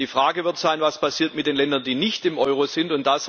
Die Frage wird sein Was passiert mit den Ländern, die nicht im Euro sind?